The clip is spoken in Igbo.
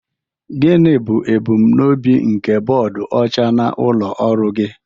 Gịnị bụ ebumnobi nke bọọdụ ọcha n'ụlọ ọrụ gị?